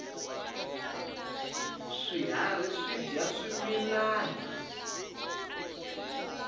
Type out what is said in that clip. swiharhi swidya swimilana